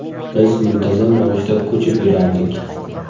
Biz muntazam ravishda ko‘chib yurardik.